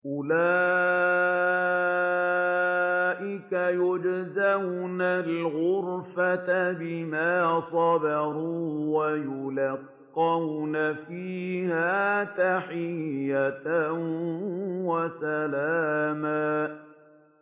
أُولَٰئِكَ يُجْزَوْنَ الْغُرْفَةَ بِمَا صَبَرُوا وَيُلَقَّوْنَ فِيهَا تَحِيَّةً وَسَلَامًا